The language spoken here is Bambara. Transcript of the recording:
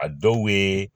A dɔw be